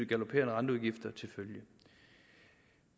galopperende renteudgifter til følge